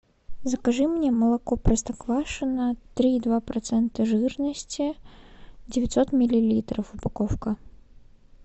закажи мне молоко простоквашино три и два процента жирности девятьсот миллилитров упаковка